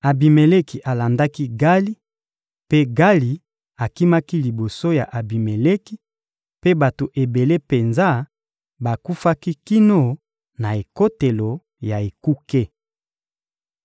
Abimeleki alandaki Gali, mpe Gali akimaki liboso ya Abimeleki, mpe bato ebele penza bakufaki kino na ekotelo ya ekuke.